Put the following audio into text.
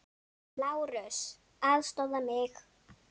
LÁRUS: Aðstoða mig!